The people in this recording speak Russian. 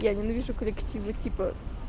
я ненавижу коллективы типа